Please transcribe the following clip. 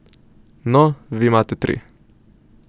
No, vi imate tri.